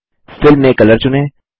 fill में colour चुनें